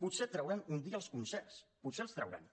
potser trauran un dia els concerts potser els trauran